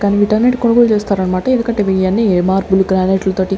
కానీ వీటన్నిటి కొనుగోలు చేస్తారన్నమాట ఎందుకంటే ఇయన్నీ మార్బుల్ గ్రానైట్ ల తోటి --